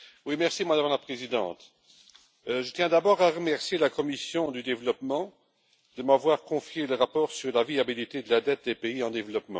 Madame la Présidente, je tiens d'abord à remercier la commission du développement de m'avoir confié le rapport sur la viabilité de la dette des pays en développement.